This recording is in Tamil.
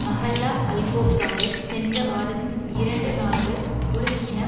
மஹல்லா அல்கோப்ராவை சென்ற வாரத்தின் இரண்டு நாள்கள் உலுக்கின